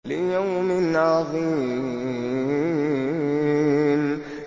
لِيَوْمٍ عَظِيمٍ